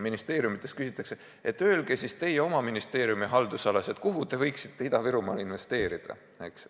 Ministeeriumidelt küsitakse, et öelge siis teie oma ministeeriumi haldusalas, kuhu te võiksite Ida-Virumaal investeerida, eks ole.